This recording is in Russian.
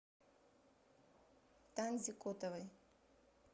танзе котовой